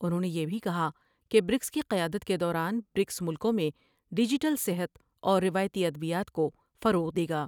انھوں نے یہ بھی کہا کہ برکس کی قیادت کے دوران برکس ملکوں میں ڈیجیٹل صحت اور روایتی ادویات کو فروغ دے گا۔